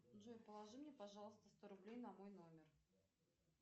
джои положи мне пожалуйста что рублей на мой номер